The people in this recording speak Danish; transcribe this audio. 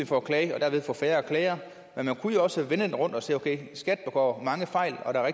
for at klage og derved få færre klagere men man kunne jo også vende den rundt og sige okay skat begår mange fejl og der er